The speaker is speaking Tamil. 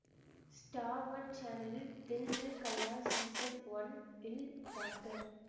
ஸ்டார் ஒன் சேனலின் தில் மில் கயா சீசன் ஒன்ல் டாக்டர்